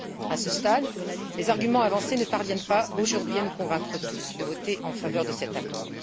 À ce stade, les arguments avancés ne parviennent pas, aujourd'hui, à nous convaincre tous de voter en faveur de cet accord.